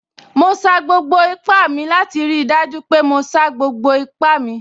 Mo sa gbogbo ipá mi láti rí i dájú pé mo sa gbogbo ipá mi